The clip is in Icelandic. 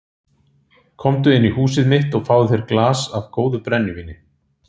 Komdu inn í húsið mitt og fáðu þér í glas af góðu brennivíni.